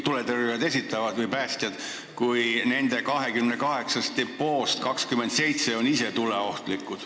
Tuletõrjujad või päästjad esitavad selle nõude, aga nende 28 depoost 27 on ise tuleohtlikud.